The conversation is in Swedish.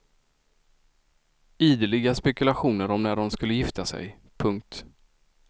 Ideliga spekulationer om när de skulle gifta sig. punkt